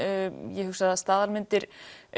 ég hugsa að staðalmyndir